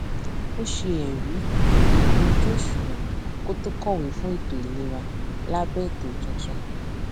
ó ṣe ẹrí ikún ojú òṣuwọn kó tó kọwé fún ètò ìlera lábẹ ètò tuntun